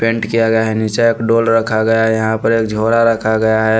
Paint किया गया है नीचे एक डोल रखा गया है यहाँ पर एक झोरा रखा गया है।